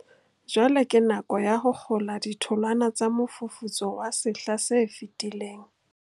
Jwale ke nako ya ho kgola ditholwana tsa mofufutso wa sehla se fetileng.